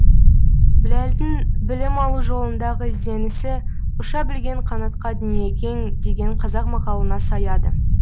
біләлдің білім алу жолындағы ізденісі ұша білген қанатқа дүние кең деген қазақ мақалына саяды